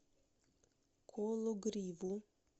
кологриву